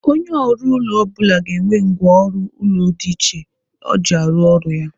Onye ọrụ ụlọ ọ bụla ga-enwe ngwa ọrụ ụlọ dị iche o ji arụ ọrụ ya.